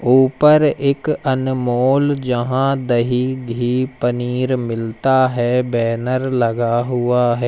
ऊपर एक अनमोल जहां दही घी पनीर मिलता है बैनर लगा हुआ है।